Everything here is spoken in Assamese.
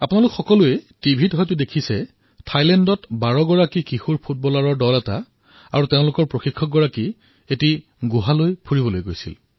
আপোনালোক সকলোৱে টিভিত দেখিছিল থাইলেণ্ডত ১২ জন কিশোৰৰ এটা ফুটবলৰ দল আৰু তেওঁলোকৰ প্ৰশিক্ষক ফুৰিবলৈ এটা গুহালৈ গৈছিল